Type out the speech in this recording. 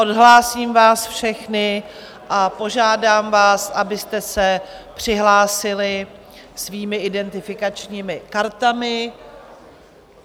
Odhlásím vás všechny a požádám vás, abyste se přihlásili svými identifikačními kartami.